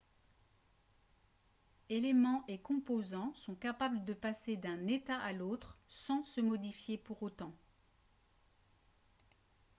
eléments et composants sont capables de passer d'un état à l'autre sans se modifier pour autant